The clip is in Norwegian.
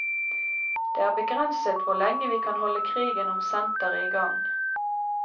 Det er begrenset hvor lenge vi kan holde krigen om senteret i gang.